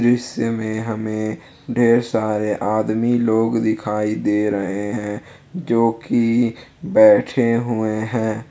दृश्य में हमे ढेर सारे आदमी लोग दिखाई दे रहे है जो कि बैठे हुए है।